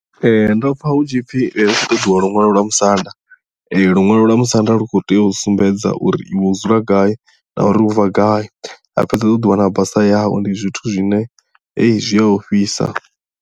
Ee ndo pfha hutshipfi hu khou ṱoḓiwa luṅwalo lwa musanda luṅwalo lwa musanda lu khou tea u sumbedza uri iwe u dzula gai na uri u bva gai ha fhedza ha ṱoḓiwa na basa yau ndi zwithu zwine hei zwi a ofhisa.